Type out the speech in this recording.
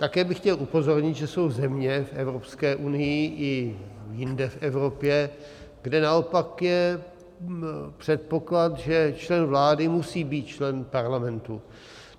Také bych chtěl upozornit, že jsou země v Evropské unii i jinde v Evropě, kde naopak je předpoklad, že člen vlády musí být člen parlamentu.